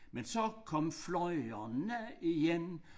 Men så kom flyverne igen